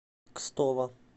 кстово